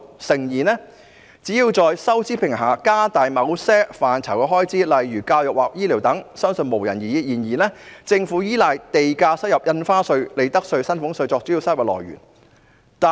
誠然，在收支平衡的情況下加大某些範疇的開支，例如教育或醫療等，相信沒有人會有異議，但政府卻依賴地價、印花稅、利得稅和薪俸稅等作為主要收入來源。